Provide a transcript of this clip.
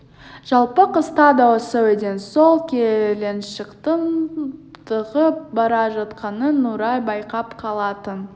жалпы қыста да осы үйден сол келіншектің шығып бара жатқанын нұрай байқап қалатын